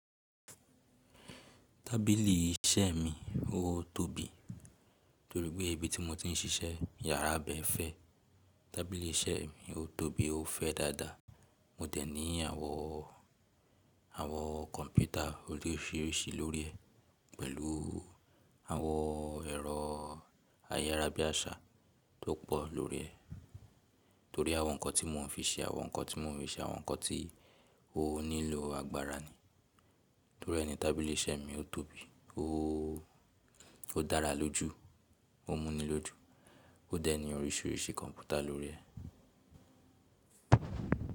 Tábìlì iṣẹ́ mi ó tóbi, torí pé ibi tí mo ti ń ṣiṣẹ́, iyàrá bẹ fẹ́. Tábìlì iṣẹ́ mi ó tóbi, ó fẹ́ dáadáa. Mo dẹ̀ ní àwọn, àwọn kọ̀ǹpútà oríṣiríṣi lórí ẹ̀ pẹ̀lú àwọn ẹ̀rọ ayára bí àṣá tó pọ̀ lórí ẹ̀. Torí àwọn nǹkan tí mò ń fi ṣe, àwọn nǹkan tí mò ń fi ṣe, àwọn nǹkan tí ó nílò agbára ni. Torí ẹni tábìlì iṣẹ́ mi ó tóbi, ó dára lójú, ó múni lójú, ó dẹ̀ ní oríṣiríṣi kọ̀ǹpútà lórí ẹ̀.